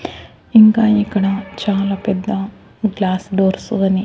ఇంకా ఇక్కడ చాలా పెద్ద గ్లాస్ డోర్సు అని--